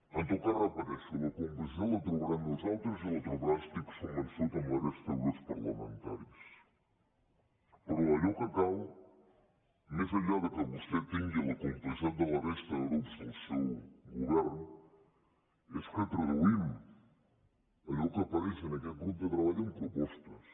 en tot cas ho repeteixo la complicitat la trobarà en nosaltres i la trobarà n’estic convençut en la resta de grups parlamentaris però allò que cal més enllà que vostè tingui la complicitat de la resta de grups del seu govern és que traduïm allò que apareix en aquest grup de treball en propostes